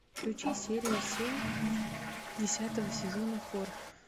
включи серию семь десятого сезона хор